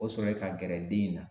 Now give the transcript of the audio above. O sɔrɔye ka gɛrɛ den in na